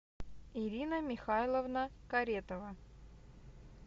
ирина михайловна каретова